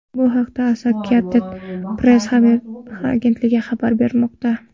Bu haqda Associated Press agentligi xabar bermoqda.